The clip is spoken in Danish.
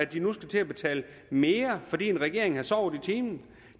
de nu skal til at betale mere fordi en regering har sovet i timen